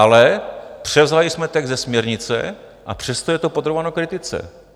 Ale převzali jsme text ze směrnice, a přesto je to podrobováno kritice.